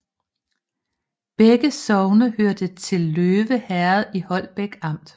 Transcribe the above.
Begge sogne hørte til Løve Herred i Holbæk Amt